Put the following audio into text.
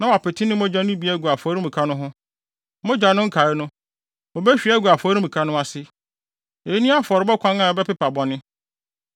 na wapete ne mogya no bi agu afɔremuka no ho. Mogya no nkae no, obehwie agu afɔremuka no ase. Eyi ne afɔrebɔ kwan a ɛpepa bɔne.